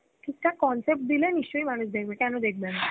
ঠিক থাক concept দিলে নিশ্চই মানুষ দেখবে, কেন দেখবে না